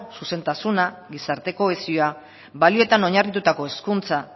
zuzentasuna gizarte kohesioa balioetan oinarritutako hezkuntza